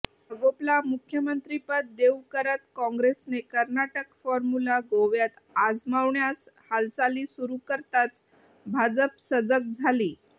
मगोपला मुख्यमंत्रिपद देऊ करत काँग्रेसने कर्नाटक फॉर्म्युला गोव्यात आजमावण्यास हालचाली सुरू करताच भाजप सजग झाली